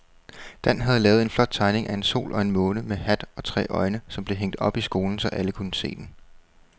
Dan havde lavet en flot tegning af en sol og en måne med hat og tre øjne, som blev hængt op i skolen, så alle kunne se den.